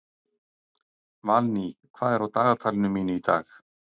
Valný, hvað er á dagatalinu mínu í dag?